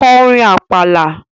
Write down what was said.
Ko orin Àpàlà!